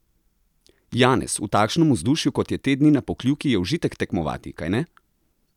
Janez, v takšnem vzdušju, kot je te dni na Pokljuki, je užitek tekmovati, kajne?